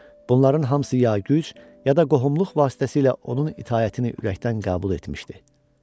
Bunların hamısı ya güc, ya da qohumluq vasitəsilə onun itaətini ürəkdən qəbul etmişdi.